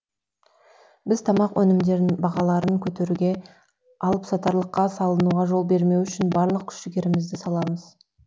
біз тамақ өнімдерін бағаларын көтеруге алыпсатарлыққа салынуға жол бермеу үшін барлық күш жігерімізді саламыз